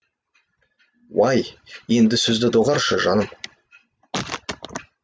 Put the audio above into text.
уай енді сөзді доғаршы жаным